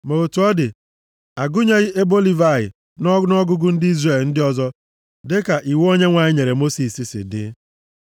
Ma otu ọ dị, a gụnyeghị ebo Livayị nʼọnụọgụgụ + 2:33 \+xt Ọnụ 1:47-49\+xt* ndị Izrel ndị ọzọ dịka iwu Onyenwe anyị nyere Mosis si dị.